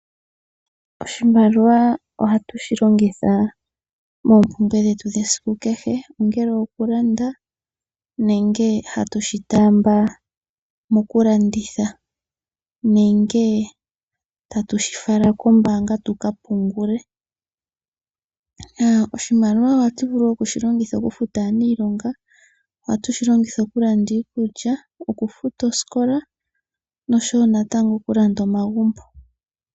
Oshimaliwa ohatu shi longitha moompumbwe dhetu dhesiku kehe, ongele okulanda nenge hatu shi taamba mokulanditha nenge tatu shi fala kombaanga tu ka pungule. Oshimaliwa ohatu vulu oku shi longitha okufuta aaniilonga, ohatu shi longitha okulanda iikulya, okufuta osikola noshowo natango okulanda omagumbo.